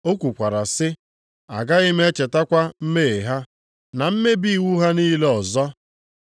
O kwukwara sị, “Agaghị m echetakwa mmehie ha na mmebi iwu ha niile ọzọ.” + 10:17 \+xt Jer 31:34\+xt*